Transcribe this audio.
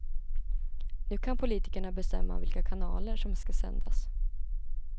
Nu kan politikerna bestämma vilka kanaler som ska sändas.